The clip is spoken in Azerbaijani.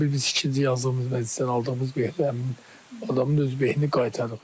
Yəni biz ikinci yazdığımız məclisdən aldığımız beh həmin adamın öz behini qaytarır.